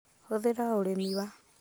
Hũthĩra ũrĩmi wa